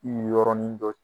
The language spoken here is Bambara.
yɔrɔnin dɔ